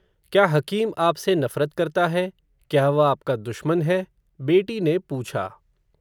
क्या हकीम आप से नफ़रत करता है, क्या वह आप का दुश्मन है, बेटी ने पूछा